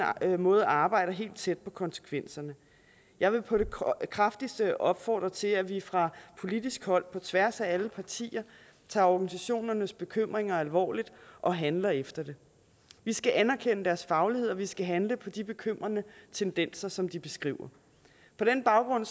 måde arbejder helt tæt på konsekvenserne jeg vil på det kraftigste opfordre til at vi fra politisk hold på tværs af alle partier tager organisationernes bekymringer alvorligt og handler efter det vi skal anerkende deres faglighed og vi skal handle på de bekymrende tendenser som de beskriver på den baggrund